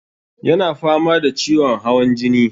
Ya na fama da ciwon hawan jini.